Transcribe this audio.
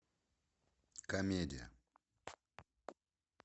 комедия